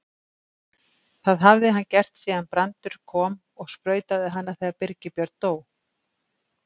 Það hafði hann gert síðan Brandur kom og sprautaði hana þegar Birgir Björn dó.